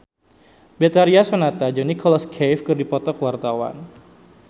Betharia Sonata jeung Nicholas Cafe keur dipoto ku wartawan